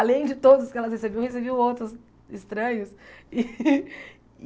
Além de todos que elas recebiam, recebiam outros estranhos.